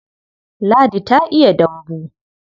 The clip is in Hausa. Ladi ta iya dambu.